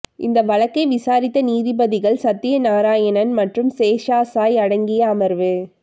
இந்த வழக்கை விசாரித்த நீதிபதிகள் சத்திய நாராயணன் மற்றும் சேஷசாயி அடங்கிய அமர்வு